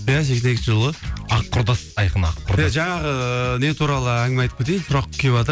иә сексен екінші жылғы ақ құрдас айқын ақ құрдас жаңағы не туралы әңғіме айтып кетейін сұрақ кеватыр